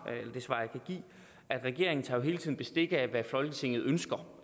jeg regeringen tager jo hele tiden bestik af hvad folketinget ønsker